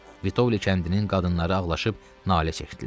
Vitovli kəndinin qadınları ağlaşıb nalə çəkdilər.